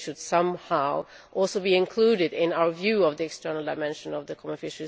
They should somehow also be included, in our view, in the external dimension of the CFP.